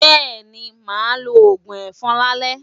Bẹ́ẹ̀ni, màá lo òògùn ẹ̀fọn lálẹ́.